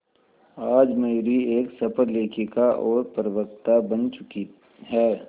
आज मयूरी एक सफल लेखिका और प्रवक्ता बन चुकी है